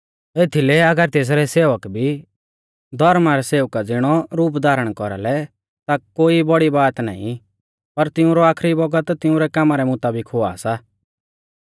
एथीलै अगर तेसरै सेवक भी धौर्मा रै सेवका ज़िणौ रूप धारण कौरालै ता कोई बौड़ी बात नाईं पर तिऊंरौ आखरी बौगत तिंउरै कामा रै मुताबिक हुआ सा